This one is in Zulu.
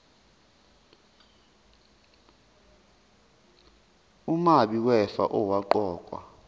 umabi wefa owaqokwa